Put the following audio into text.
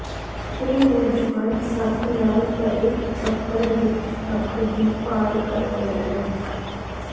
ਇਹ ਨੌਜਵਾਨ ਸੱਪ ਨਾਲ ਭਰੇ ਛੱਪੜ ਵਿੱਚ ਸੱਪ ਦੀ ਭਾਲ ਕਰ ਰਿਹਾ ਸੀ